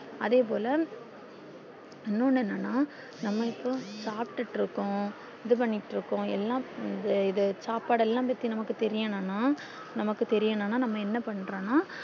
அதே போல இன்னொன்னு என்னன்னா நம்ம இப்போ சாப்டுட்டு இருக்கோம் இது பண்ணிட்டு இருக்கோம் எல்லாம் இது சாப்பாடெல்லா இத பத்தி தேரியனுன்னா நமக்கு தேரியனுன்னா நம்ம என்ன பன்றோன்னா